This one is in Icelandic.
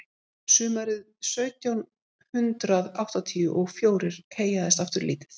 sumarið sautján hundrað áttatíu og fjórir heyjaðist aftur lítið